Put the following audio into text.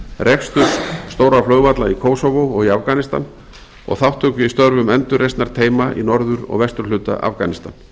reksturs stórra flugvalla í kosovo og í afganistan og þátttöku í störfum endurreisnarteyma í norður og vesturhluta afganistan